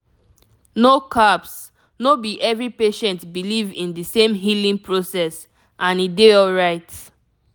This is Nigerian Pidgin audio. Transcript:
no caps no be every patient believe in di same healing process and e dey alright